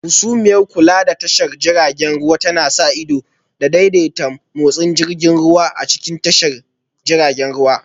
Hasumiyar Kula da tashar jiragen ruwa tana sa ido da daidaita motsin jirgin ruwa a cikin tashar jiragen ruwa